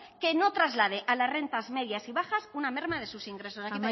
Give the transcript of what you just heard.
que no traslade a las rentas medias y bajas una merma de sus ingresos